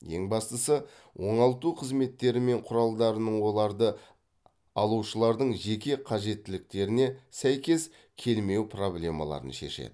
ең бастысы оңалту қызметтері мен құралдарының оларды алушылардың жеке қажеттіліктеріне сәйкес келмеу проблемаларын шешеді